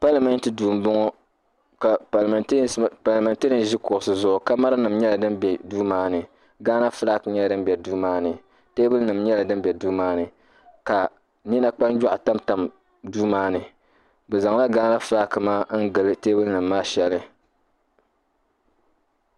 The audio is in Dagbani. Palimɛnti duu m-bɔŋɔ ka palimɛnteeriyɛnsi ʒi kuɣisi zuɣu kamaranima nyɛla din be duu maa ghana fulaaki nyɛla din be duu maa ni teebulinima nyɛla din be duu maa ni ka nina kpanjɔɣu tamtam duu maa ni. Bɛ zaŋla ghana fulaaki maa n-gili teebulinima maa shɛli.